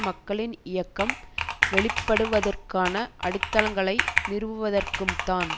மக்களின் இயக்கம் வெளிப்படுவதற்கான அடித்தளங்களை நிறுவுவதற்கும்தான்